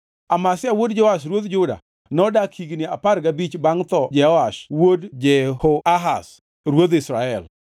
Amazia wuod Joash ruodh Juda nodak higni apar gabich bangʼ tho Jehoash wuod Jehoahaz ruodh Israel.